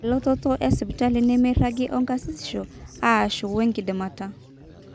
elototo esipitali nemeiragi okarsisisho aashu wenkidimata